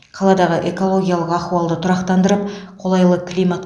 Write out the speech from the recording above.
қаладағы экологиялық ахуалды тұрақтандырып қолайлы климат